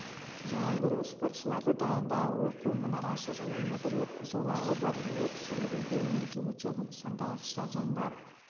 жайылдыру спортшыларды дайындау оқу мұнарасы және метрлік жолағы бар өрт сөндіру бөлімінде өтеді сондай-ақ стадионда